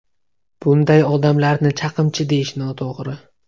Bunday odamlarni chaqimchi deyish noto‘g‘ri.